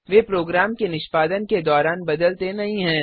वे program के निष्पादन के दौरान बदलते नहीं हैं